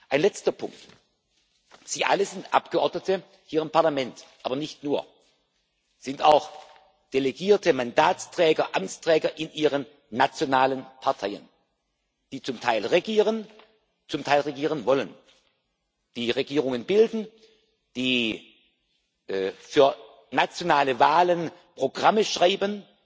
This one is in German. Ein letzter Punkt Sie alle sind Abgeordnete hier im Parlament, aber nicht nur. Sie sind auch Delegierte, Mandatsträger, Amtsträger in Ihren nationalen Parteien, die zum Teil regieren, zum Teil regieren wollen, die Regierungen bilden, die für nationale Wahlen Programme schreiben,